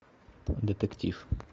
детектив